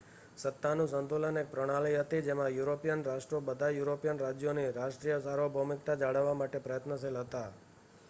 સત્તાનું સંતુલન એક પ્રણાલી હતી જેમાં યુરોપિયન રાષ્ટ્રો બધાં યુરોપિયન રાજ્યોની રાષ્ટ્રીય સાર્વભૌમિકતા જાળવવા માટે પ્રયત્નશીલ હતાં